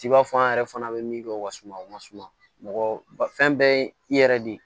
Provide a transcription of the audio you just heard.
T'i b'a fɔ an yɛrɛ fana bɛ min kɛ o ka suma o masuma mɔgɔ ba fɛn bɛɛ ye i yɛrɛ de ye